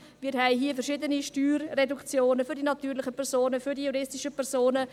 Wir haben hier verschiedene Steuerreduktionen für die natürlichen Personen, für die juristischen Personen;